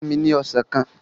Fúnni ní Ọsàn kan!